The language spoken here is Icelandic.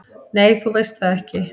"""Nei, þú veist það ekki."""